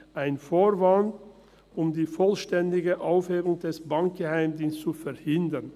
Ein Vorwand, um die vollständige Aufhebung des Bankgeheimnisses zu verhindern.